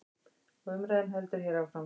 Og umræðan heldur hér áfram.